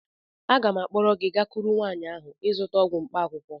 Aga m akpọrọ gị gakwuru nwaanyị ahụ ị zụta ọgwụ mkpaakwụkwọ